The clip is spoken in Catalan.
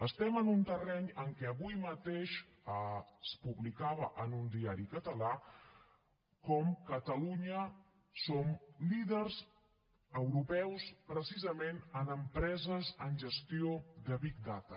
estem en un terreny en què avui mateix es publicava en un diari català com catalunya som líders europeus precisament en empreses en gestió de big data